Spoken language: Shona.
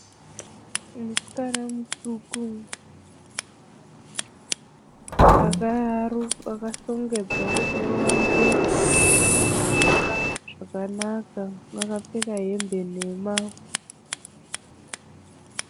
Uyu musikana mutsvuku akashongezwa musoro wake zvakanaka. Akapfeka hembe nhema.